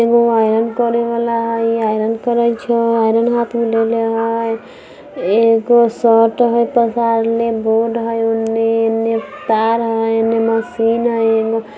एगो आयरन करेवाला हई आयरन करइ छई आयरन हाथ में लेले हई। एगो शर्ट हई पसारले बोर्ड हई ओने एने तार हई एने मशीन हई एने --